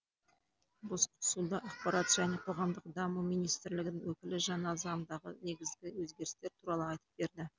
басқосуда ақпарат және қоғамдық даму министрлігінің өкілі жаңа заңдағы негізгі өзгерістер туралы айтып берді